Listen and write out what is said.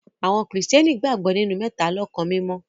Awọn kristiani gbagbọ ninu Mẹtalọkan Mimọ.